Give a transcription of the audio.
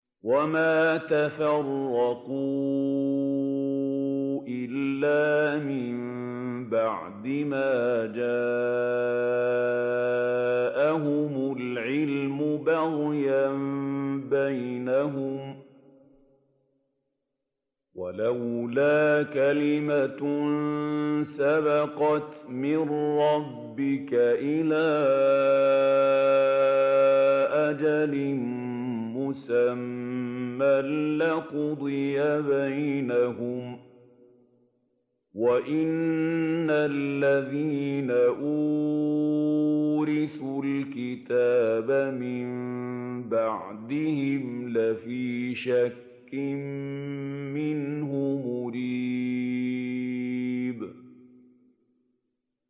وَمَا تَفَرَّقُوا إِلَّا مِن بَعْدِ مَا جَاءَهُمُ الْعِلْمُ بَغْيًا بَيْنَهُمْ ۚ وَلَوْلَا كَلِمَةٌ سَبَقَتْ مِن رَّبِّكَ إِلَىٰ أَجَلٍ مُّسَمًّى لَّقُضِيَ بَيْنَهُمْ ۚ وَإِنَّ الَّذِينَ أُورِثُوا الْكِتَابَ مِن بَعْدِهِمْ لَفِي شَكٍّ مِّنْهُ مُرِيبٍ